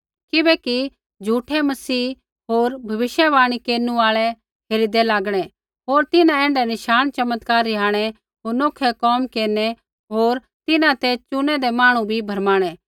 किबैकि झ़ूठै मसीह होर भविष्यवाणी केरनु आल़ै हेरिदै लागणै होर तिन्हां ऐण्ढै नशाण चमत्कार रिहाणै होर नोखै कोम केरनै होर तिन्हां ते चुनैदै मांहणु भी भरमाणै